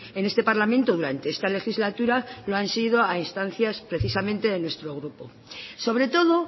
en este parlamento durante esta legislatura lo han sido a instancias precisamente de nuestro grupo sobre todo